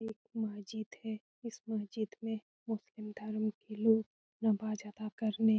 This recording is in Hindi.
ये एक महजिद हैं इस महजिद मे मुस्लिम धर्म के लोग नमाज अदा करने --